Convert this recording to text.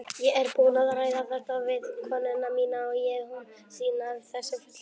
Ég er búinn að ræða þetta við konuna mína og hún sýnir þessu fullan skilning.